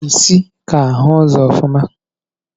Pusi ka ahu ụzọ ofuma.